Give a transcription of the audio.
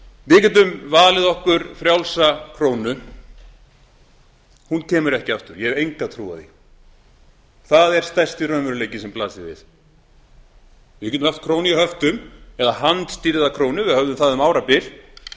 við getum valið okkur frjálsa krónu hún kemur ekki aftur ég hef enga trú á því það er stærsti raunveruleikinn sem blasir við við getum haft krónu í höftum eða handstýrða krónu við höfðum það um árabil við